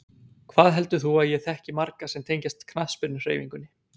Hvað heldur þú að ég þekki marga sem tengjast knattspyrnuhreyfingunni?